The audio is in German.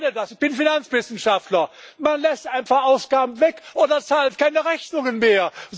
Ich kenne das, ich bin Finanzwissenschaftler. Man lässt einfach Ausgaben weg oder zahlt keine Rechnungen mehr.